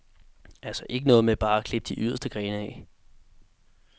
Altså ikke noget med bare at klippe de yderste grene af.